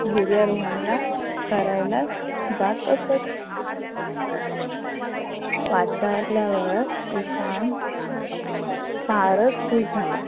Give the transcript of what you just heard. गिर्यारोहणला करायला जात असत. आल्यावर ईशान फारच खुश झाला